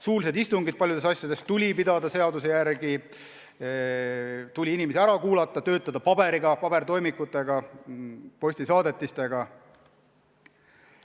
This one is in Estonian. Suulised istungid tuli paljudes asjades pidada seaduse järgi, tuli inimesi ära kuulata, töötada paberitega, pabertoimikutega, postisaadetistega.